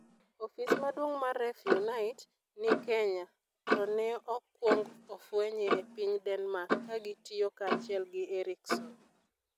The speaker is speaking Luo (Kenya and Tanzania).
Ofis maduong ' mar REFUNITE ni Kenya, to ne okwong ofwenye e piny Denmark ka gitiyo kanyachiel gi Ericsson.